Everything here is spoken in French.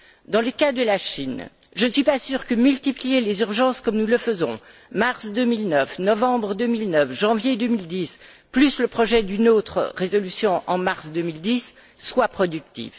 Dans le cas de la Chine, je ne suis pas sûre que multiplier les résolutions d'urgence comme nous le faisons mars 2009, novembre 2009, janvier 2010, plus le projet d'une autre résolution en mars 2010 soit productif.